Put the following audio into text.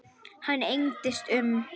Hann engdist um.